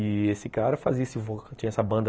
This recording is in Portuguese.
E esse cara fazia esse vo, tinha essa banda...